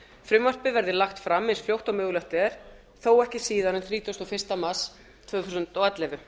frumvarpið verði lagt fram eins fljótt og mögulegt er þó ekki síðar en þrítugasta og fyrsta mars tvö þúsund